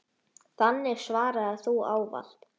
Þannig svaraði þú ávallt.